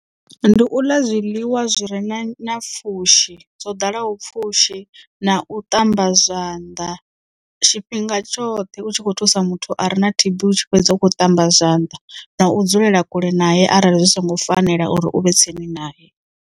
Ndi u ḽa zwiḽiwa zwi re na pfhushi zwo ḓalaho pfhushi na u ṱamba zwanḓa tshifhinga tshoṱhe u tshi kho thusa muthu are na T_B u tshi fhedza u kho ṱamba zwanḓa na u dzulela kule naye arali zwi songo fanela uri u vhe tsini nae.